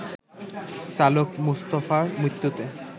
চালক মুস্তাফার মৃত্যুতে